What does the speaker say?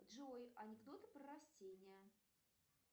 джой анекдоты про растения